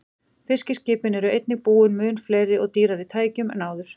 Fiskiskipin eru einnig búin mun fleiri og dýrari tækjum en áður.